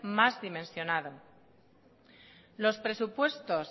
más dimensionado los presupuestos